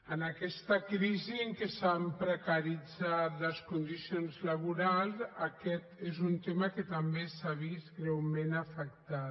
en aquesta crisi en què s’han precaritzat les condicions laborals aquest és un tema que també s’ha vist greument afectat